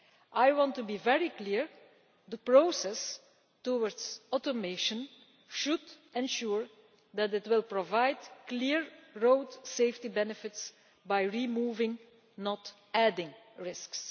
I want to be very clear that the process towards automation should ensure that it will provide clear road safety benefits by removing, not adding, risks.